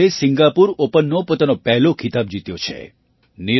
સિંધુએ સિંગાપુર ઑપનનો પોતાનો પહેલો ખિતાબ જીત્યો છે